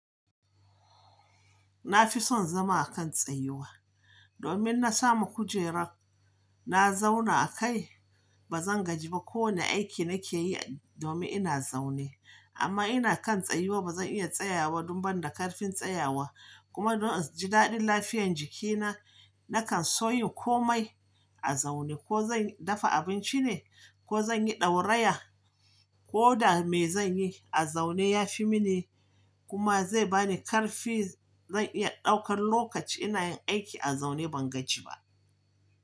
Na fi son zama a kan tsayuwa domin na samu kujerar na zauna a kai. Ba zan gaji ba kowane aiki nake yi domin ina zaune amma ina kan tsayuwa. Ba zan iya tsayawa don ban da ƙarfin tsayawa kuma don in ji daɗin lafiyar jikina, na kan so yin komai a zaune. Ko zan dafa abinci ne ko zan yi ɗauraya ko da me zan yi a zaune ya fi mini kuma zai ba ni ƙarfi. Zan iya ɗaukar lokaci ina yin aiki a zaune, ban gaji ba.